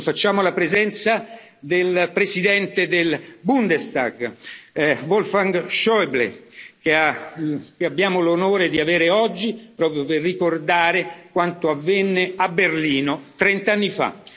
Lo facciamo, alla presenza del Presidente del Bundestag, Wolfgang Schäuble, che abbiamo l'onore di avere oggi proprio per ricordare quanto avvenne a Berlino trent'anni